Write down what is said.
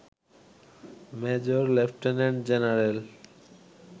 major lieutenant general